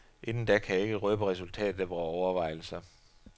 Inden da kan jeg ikke røbe resultatet af vore overvejelser.